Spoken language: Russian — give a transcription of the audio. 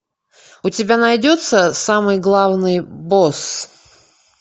у тебя найдется самый главный босс